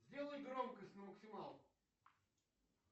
сделай громкость на максималку